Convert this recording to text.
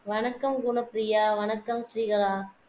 வணக்கம் குணப்ப்ரியா வணக்கம் ஸ்ரீகலா